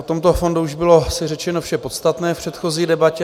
O tomto fondu už bylo asi řečeno vše podstatné v předchozí debatě.